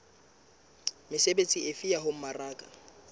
mesebetsi efe ya ho mmaraka